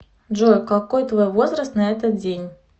джой какой твой возраст на этот день